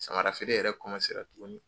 Samara feere yɛrɛ tuguni.